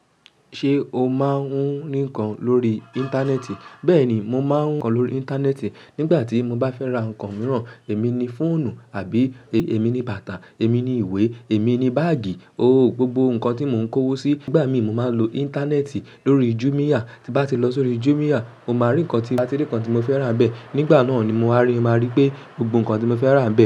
Ṣé o máa ń hun nìkan lórí Íńtánẹ́ẹ̀tì? Bẹ́ẹ̀ ni, mo máa ń kọ lórí Íńtánẹ́ẹ̀tì. Nígbà tí mo bá fẹ́ ra nǹkan mìíràn, èmi ni fóònù àbí èmi ni bàtà, èmi ni ìwé, èmi ni báàgì, oh, gbogbo nǹkan tí mo ń kówó sí, nígbà míì mo máa lò Íńtánẹ́ẹ̀tì lórí Jumia. Tí bá ti lọ sí orí Jumia, mo máa rí nǹkan tí, tí ń bá tí rí nǹkan tí mo fẹ́ rà nbẹ́ẹ̀. Nígbà náà ni mo wà máa rí, máa rí pé gbogbo nǹkan tí mo fẹ́ rà ń bẹ.